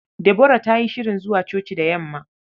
Deborah ta yi shirin zuwa coci da yamma.